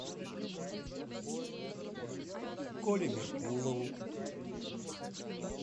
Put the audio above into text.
коле меркулову